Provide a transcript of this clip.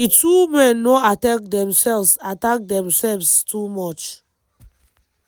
di two men no attack themselves attack themselves too much